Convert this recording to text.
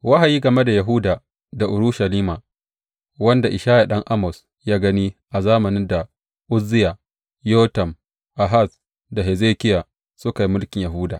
Wahayi game da Yahuda da Urushalima wanda Ishaya ɗan Amoz ya gani a zamanin da Uzziya, Yotam, Ahaz da Hezekiya, suka yi mulkin Yahuda.